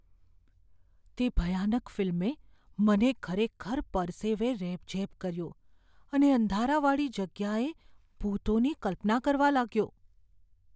તે ભયાનક ફિલ્મે મને ખરેખર પરસેવે રેબઝેબ કર્યો અને અંધારાવાળી જગ્યાએ ભૂતોની કલ્પના કરવા લાગ્યો.